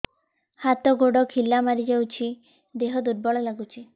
ହାତ ଗୋଡ ଖିଲା ମାରିଯାଉଛି ଦେହ ଦୁର୍ବଳ ଲାଗୁଚି